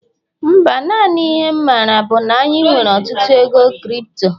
Mba, naanị ihe'm maara bu na anyị nwere ọtụtụ ego crypto